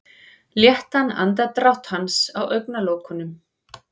Léttan andardrátt hans á augnalokunum.